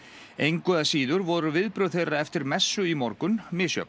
engu að síður voru viðbrögð þeirra eftir messu í morgun misjöfn